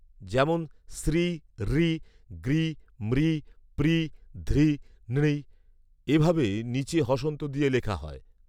যেমন সৃ রৃ গৃ মৃ পৃ ধৃ নৃ, এ ভাবে নীচে হষন্ত দিয়ে লেখা হয়